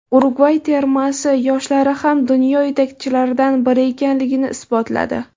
Urugvay termasi yoshlari ham dunyo yetakchilaridan biri ekanligini isbotladi.